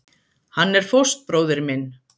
Hann er fóstbróðir minn.